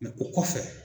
o kɔfɛ